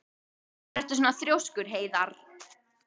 Af hverju ertu svona þrjóskur, Heiðarr?